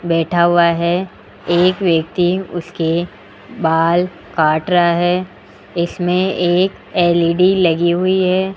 बैठा हुआ है एक व्यक्ति उसके बाल काट रहा है इसमें एक एल_इ_डी लगी हुई है।